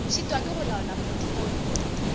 šitwa ke go laola potfolio